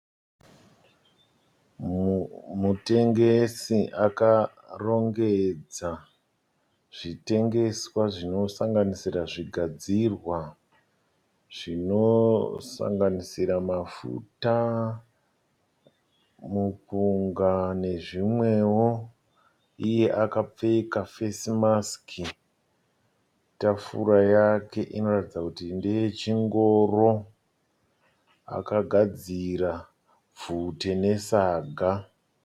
Mutengesi akarongedza zvitengeswa zvinosanganisira zvigadzirwa zvinosanganisira mafuta, mupunga nezvimwewo. Iye akapfeka (face mask). Tafura yake inoratidza kuti ndeye chingoro. Akagadzira bvute nesaga.